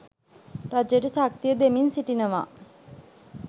රජයට ශක්තිය දෙමින් සිටිනවා.